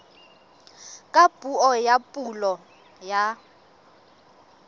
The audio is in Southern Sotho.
ka puo ya pulo ya